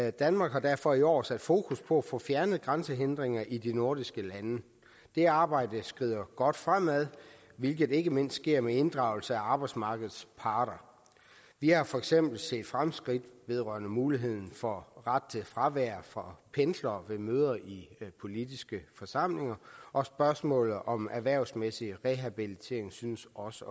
og danmark har derfor i år sat fokus på at få fjernet grænsehindringer i de nordiske lande det arbejde skrider godt fremad hvilket ikke mindst sker med inddragelse af arbejdsmarkedets parter vi har for eksempel set fremskridt vedrørende muligheden for ret til fravær for pendlere ved møder i politiske forsamlinger og spørgsmålet om erhvervsmæssig rehabilitering synes også